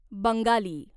Bengali